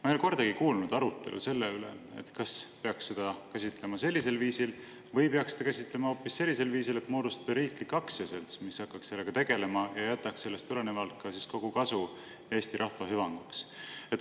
Ma ei ole kordagi kuulnud arutelu selle üle, kas peaks seda käsitlema sellisel viisil või hoopis sellisel viisil, et moodustada riiklik aktsiaselts, mis hakkaks sellega tegelema ja jätaks sellest tulenevalt ka kogu kasu Eesti rahva hüvanguks.